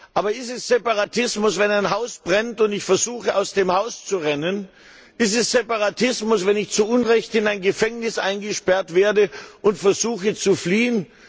Aber ist es Separatismus, wenn ein Haus brennt und ich versuche, aus dem Haus zu rennen? Ist es Separatismus, wenn ich zu Unrecht in ein Gefängnis eingesperrt werde und versuche, zu fliehen?